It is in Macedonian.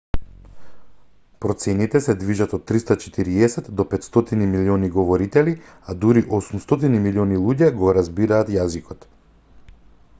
процените се движат од 340 до 500 милиони говорители а дури 800 милиони луѓе го разбираат јазикот